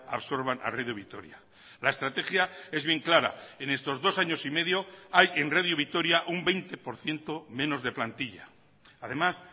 absorban a radio vitoria la estrategia es bien clara en estos dos años y medio hay en radio vitoria un veinte por ciento menos de plantilla además